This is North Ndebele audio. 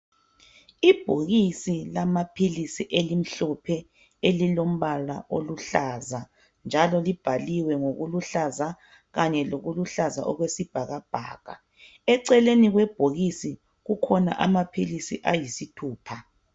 Ibhokisi lamaphilisi elimhlophe elilombala oluhlaza, njalo libhaliwe ngokuluhlaza kanye lokuluhlaza okwesibhakabhaka. Eceleni kwebhokisi kukhona amaphilisi ayisithupha.